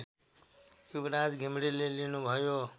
युवराज घिमिरेले लिनुभयो